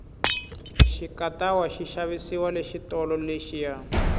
xikatawa xi xavisiwa le xitolo lexiya